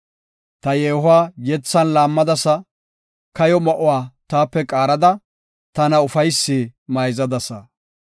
Ta yeehuwa yethan laammadasa; kayo ma7uwa taape qaarada, tana ufaysi mayzadasa.